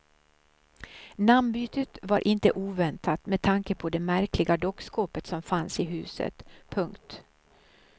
Namnbytet var inte oväntat med tanke på det märkliga dockskåpet som fanns i huset. punkt